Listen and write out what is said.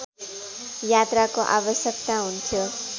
यात्राको आवश्यकता हुन्थ्यो